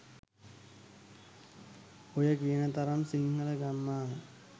ඔය කියන තරම් සිංහල ගම්මාන